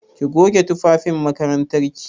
Ki goge tufafin makarantar ki!